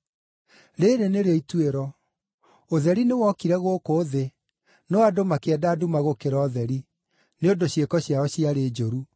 Rĩĩrĩ nĩrĩo ituĩro: Ũtheri nĩwokire gũkũ thĩ, no andũ makĩenda nduma gũkĩra ũtheri, nĩ ũndũ ciĩko ciao ciarĩ njũru.